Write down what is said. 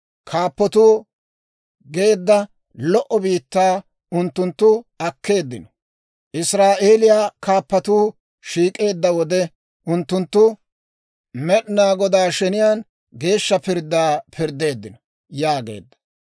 Kaappatoo geedda lo"o biittaa unttunttu akkeeddino; Israa'eeliyaa kaappatuu shiik'eedda wode, unttunttu Med'inaa Godaa sheniyaan geeshsha pirddaa pirddeeddino» yaageedda.